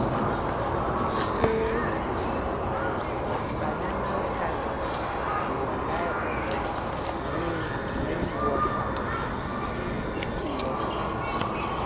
um di um panama canal dey rely on rain rainwater and e dey in short supply.